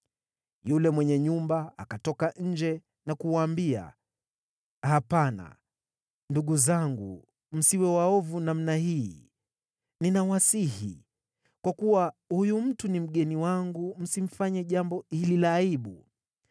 Yule mwenye nyumba akatoka nje na kuwaambia, “Hapana, ndugu zangu msiwe waovu namna hii, ninawasihi. Kwa kuwa huyu mtu ni mgeni wangu msifanye jambo hili la aibu.